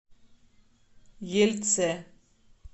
ельце